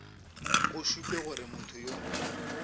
go šupe gore motho yo